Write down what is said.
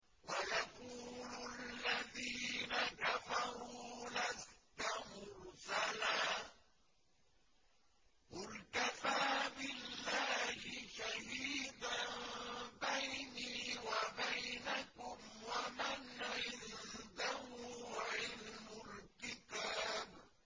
وَيَقُولُ الَّذِينَ كَفَرُوا لَسْتَ مُرْسَلًا ۚ قُلْ كَفَىٰ بِاللَّهِ شَهِيدًا بَيْنِي وَبَيْنَكُمْ وَمَنْ عِندَهُ عِلْمُ الْكِتَابِ